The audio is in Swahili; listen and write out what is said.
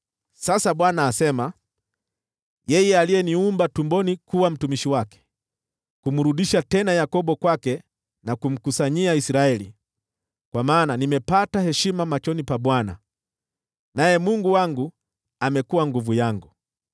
Sasa Bwana asema: yeye aliyeniumba tumboni kuwa mtumishi wake, kumrudisha tena Yakobo kwake na kumkusanyia Israeli, kwa maana nimepata heshima machoni pa Bwana , naye Mungu wangu amekuwa nguvu yangu;